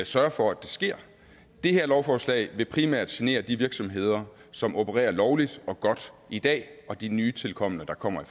sørge for at det sker det her lovforslag vil primært genere de virksomheder som opererer lovligt og godt i dag og de nytilkomne der kommer